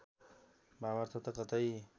भावार्थ त कतै